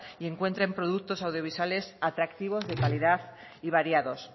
y encuentren productos audiovisuales atractivos de calidad y variados